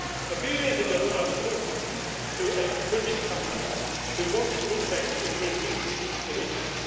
A few years ago I was talking to a British company which wanted to invest in Brindisi in Italy.